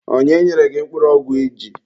Onye nyere gị mkpụrụ ọgwụ iji?